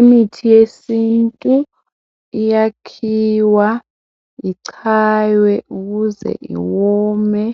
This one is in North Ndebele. Imithi yesintu iyakhiwa ichaywe ukuze iwome